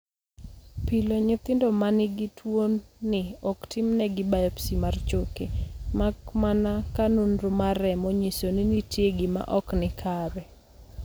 Pile, nyithindo ma nigi tuwoni ok timnegi biopsy mar choke, mak mana ka nonro mar remo nyiso ni nitie gima ok ni kare.